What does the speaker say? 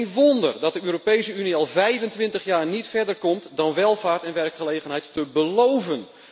Geen wonder dat de Europese Unie al 25 jaar niet verder komt dan welvaart en werkgelegenheid te beloven.